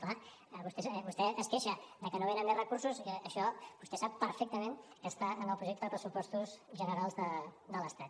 clar vostè es queixa de que no venen més recursos i això vostè sap perfectament que està en el projecte de pressupostos generals de l’estat